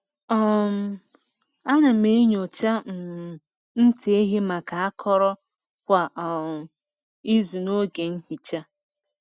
um A na m enyocha um ntị ehi maka akọrọ kwa um izu n’oge nhicha.